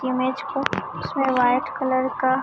image को जिसमें white colour का--